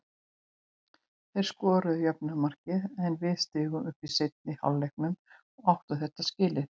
Þeir skoruðu jöfnunarmarkið en við stigum upp í seinni hálfleiknum og áttu þetta skilið.